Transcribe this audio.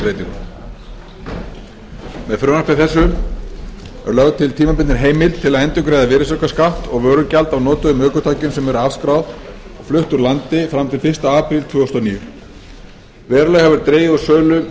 breytingum með frumvarpi þessu er lögð til tímabundin heimild til að endurgreiða virðisaukaskatt og vörugjald af notuðum ökutækjum sem eru afskráð og flutt úr landi fram til fyrsta apríl tvö þúsund og níu verulega hefur dregið úr sölu